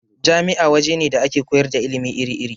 Jami'a waje ne da ake koyar da ilimi iri-iri.